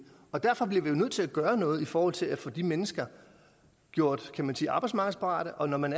og derfor bliver vi jo nødt til at gøre noget i forhold til at få de mennesker gjort kan man sige arbejdsmarkedsparate og når man